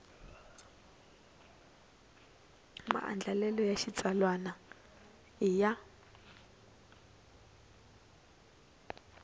maandlalelo ya xitsalwana i ya